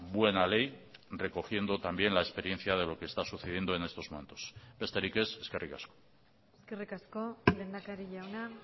buena ley recogiendo también la experiencia de lo que está sucediendo en estos momentos besterik ez eskerrik asko eskerrik asko lehendakari jauna